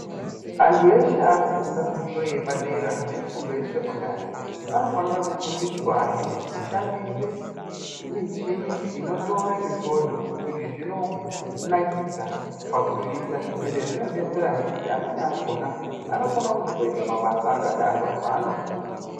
Antu eshe ari kufunda fundo yepadera ne fundo yekusekondari anofanira kufundiswahe kushandise michini inotora mifodho. Izvi zvinonakidza pakuzviita ende zvinodetserahe kuti amweni akona anokona kuzotoite mabasa akadaro paanokura.